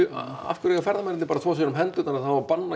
af hverju eiga ferðamennirnir bara að þvo sér um hendurnar og það á að banna